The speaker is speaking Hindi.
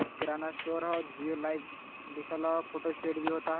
और किराना स्टोर होजिओ लाइफ लिखो लोफ़ोटो स्टूडियो लिखा टो।